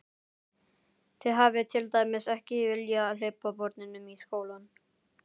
Þið hafið til dæmis ekki viljað hleypa börnunum í skólann?